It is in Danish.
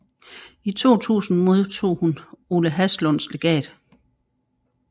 I 2000 modtog hun Ole Haslunds Legat